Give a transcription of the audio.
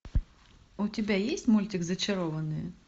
у тебя есть мультик зачарованные